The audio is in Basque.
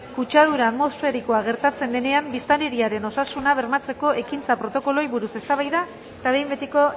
kutsadura atmosferikoa gertatzen denean biztanleriaren osasuna bermatzeko ekintza protokoloei buruz eztabaida eta behin betiko